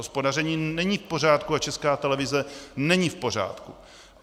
Hospodaření není v pořádku a Česká televize není v pořádku.